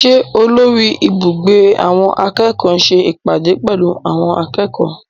Ṣé olórí ibùgbé àwọn akẹ́kọ̀ọ́ ń ṣe ìpàdé pẹ̀lú àwọn akẹ́kọ̀ọ́?